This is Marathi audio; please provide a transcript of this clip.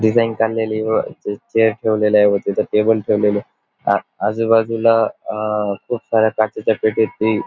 डिझाईन काढलेली व चे चेअर ठेवलेलाय व तिथ टेबल ठेवलेले आ आजूबाजूला अ खूप साऱ्या काचेच्या पेटीत ती --